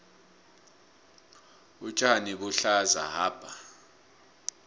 utjani buhlaza hapa